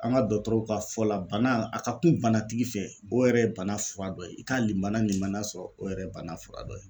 An ka dɔgɔtɔrɔw ka fɔ la bana a ka kun banatigi fɛ, o yɛrɛ ye bana fura dɔ ye ,i ka limana limaniya sɔrɔ o yɛrɛ ye bana fura dɔ ye.